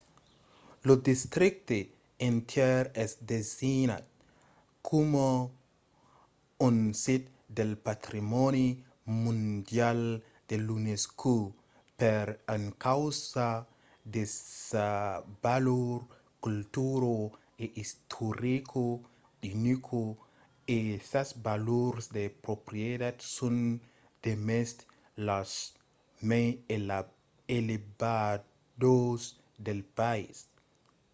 lo districte entièr es designat coma un sit del patrimòni mondial de l’unesco per encausa de sa valor cultura e istorica unica e sas valors de proprietat son demest las mai elevadas del país